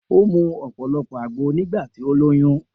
O mu ọ̀pọ̀lọpọ̀ àgbo nígbà tí ó lóyún